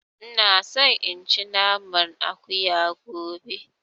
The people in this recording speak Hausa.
Ina so in ci naman Akuya gobe